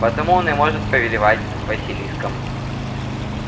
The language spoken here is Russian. потому он и может повелевать василиском